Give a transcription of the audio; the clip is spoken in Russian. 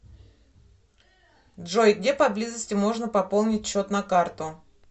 джой где поблизости можно пополнить счет на карту